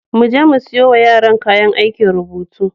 Mu je mu siyo wa yaran kayan aikin rubutu.